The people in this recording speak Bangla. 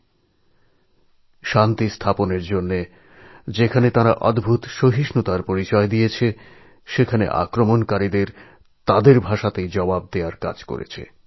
দেশের শান্তিশৃঙ্খলা বজায় রাখার জন্য তাঁরা অত্যাশ্চর্য ক্ষমতা দেখিয়েছেন এবং সন্ত্রাসবাদীদের তাদের ভাষাতেই জবাব দিয়েছেন